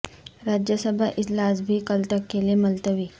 راجیہ سبھا اجلاس بھی کل تک کے لئے ملتوی